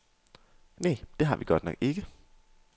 Nej, det har vi godt nok ikke.